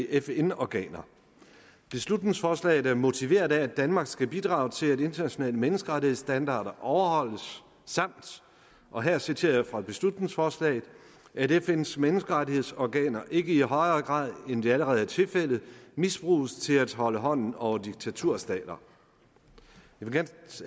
fn organer beslutningsforslaget er motiveret af at danmark skal bidrage til at internationale menneskerettighedsstandarder overholdes samt og her citerer jeg fra beslutningsforslaget at fns menneskerettighedsorganer ikke i højere grad end det allerede er tilfældet misbruges til at holde hånden over diktaturstater